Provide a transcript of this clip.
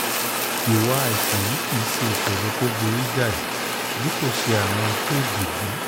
ìwà àìsàn yìí kì í ṣe ìṣòro tó burú jáì bí kò ṣe àrùn éèdì b